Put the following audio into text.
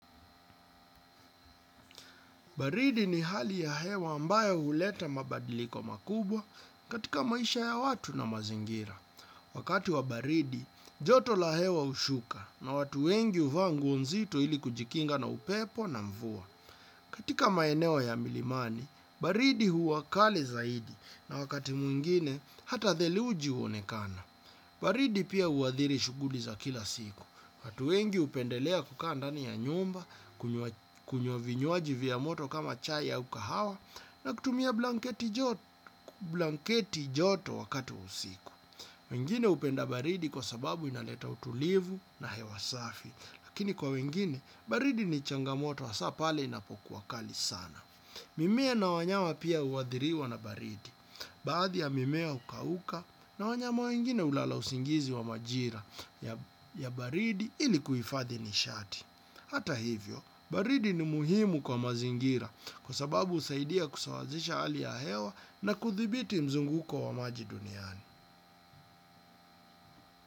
Baridi ni hali ya hewa ambayo huleta mabadiliko makubwa katika maisha ya watu na mazingira. Wakati wa baridi, joto la hewa hushuka na watu wengi huvaa nguo nzito ili kujikinga na upepo na mvua. Katika maeneo ya milimani, baridi huwa kali zaidi na wakati mwingine hata theluji huonekana. Baridi pia huathiri shughuli za kila siku, watu wengi hupendelea kukaa ndani ya nyumba, kunywa vinywaji vya moto kama chai au kahawa, na kutumia blanketi joto wakati wa usiku. Wengine hupenda baridi kwa sababu inaleta utulivu na hewa safi, lakini kwa wengine, baridi ni changamoto, hasa pale inapokuwa kali sana. Mimea na wanyama pia huathiriwa na baridi, baadhi ya mimea hukauka na wanyama wengine hulala usingizi wa majira ya baridi ili kuhifadhi nishati. Hata hivyo, baridi ni muhimu kwa mazingira kwa sababu husaidia kusawazisha hali ya hewa na kuthibiti mzunguko wa maji duniani.